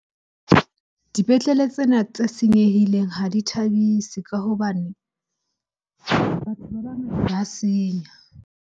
Dipetlele tsena tse senyehileng ha di thabise ka hobane batho ba ba senya.